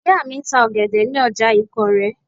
Ìyá mi ń ta ọ̀gẹ̀dẹ̀ ní ọjà ìkórè